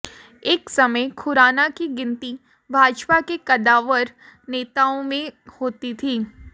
एक समय खुराना की गिनती भाजपा के कद्दावर नेताओं में होती थी